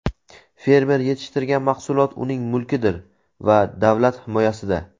fermer yetishtirgan mahsulot uning mulkidir va u davlat himoyasida.